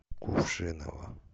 кувшиново